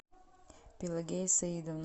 пелагея саидовна